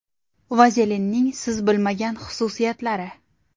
Vazelinning siz bilmagan xususiyatlari.